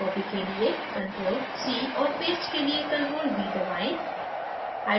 copy के लिए ctrl + c और paste के लिए ctrl + v दबाएं